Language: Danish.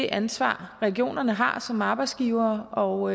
ansvar regionerne har som arbejdsgivere og